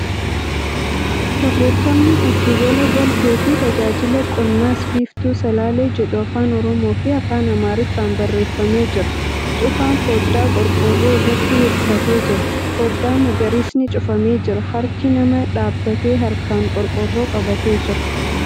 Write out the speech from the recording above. Barreeffamni 'Gidduu gala galtee fi tajaajila qonnas Biiftuu Salaalee ' jedhu Afaan Oromoo fi Afaan Amaariffaan barreeffamee jira. Cufaan fooddaa qorqoorroo irratti hirkatee jira. Fooddaa magariisni cufamee jira. Harki nama dhaabbatee harkaan qorqoorroo qabatee jira.